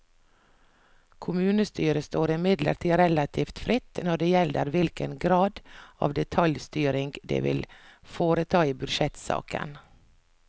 Kommunestyret står imidlertid relativt fritt når det gjelder hvilken grad av detaljstyring det vil foreta i budsjettsaken.